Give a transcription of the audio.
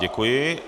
Děkuji.